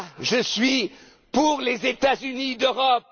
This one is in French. vision. Je suis pour les États Unis